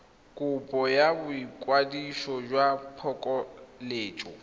kopo ya boikwadiso jwa phokoletso